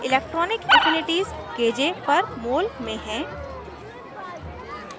electronic affinities kj per mol में हैं